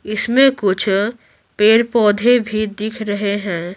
इसमें कुछ पेड़-पौधे भी दिख रहे हैं।